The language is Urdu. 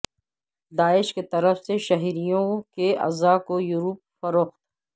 داعش کیطرف سےشہریوں کے اعضا کویورپ فروخت